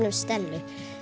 um Stellu